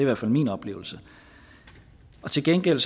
hvert fald min oplevelse til gengæld